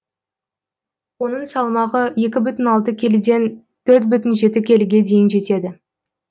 оның салмағы екі бүтін алты келіден төрт бүтін жеті келіге дейін артты